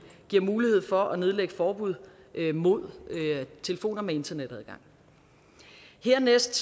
giver mulighed for at nedlægge forbud mod telefoner med internetadgang dernæst